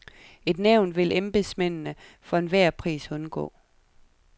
Et nævn vil embedsmændene for enhver pris undgå.